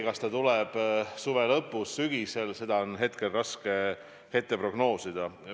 Kas see tuleb suve lõpus või sügisel, on raske prognoosida.